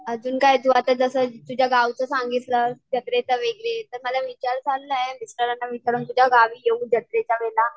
अजून काय तू आता जसं तुझ्या गावचं सांगितलंस तर माझा विचार चाललाय मी तुझ्या गावी येऊ जत्रेच्या वेळेला.